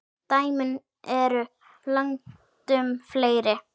Dæmin eru langtum fleiri.